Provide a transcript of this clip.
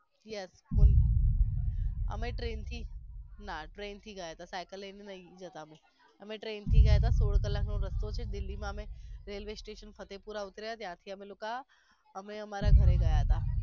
yes અમે train થી ના અમે trian થી ગયા હતા સાયકલ લાઈ ને નહિ જતા અમે train થી ગયા તા સોળ કલાક નો રસ્તો હતો દિલ્હી માં અમે railway station ફતેહપુરા ઉતર્યા ત્યાંથી અમે લોકો અમે અમારા ઘરે ગયા હતા.